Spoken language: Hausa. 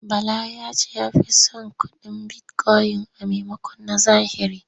Bala ya ce ya fi son kuɗin bitikoyin a maimakon na zahiri.